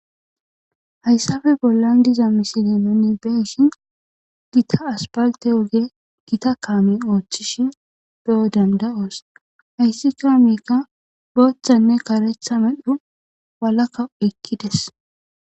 hayssafe bollan diza misile nuni be'ishshin gita aspalte oge gita kaamey ooththishin beyo danda'oos hayssi kaameykka booththanne kareththa medhdho walakka eqidees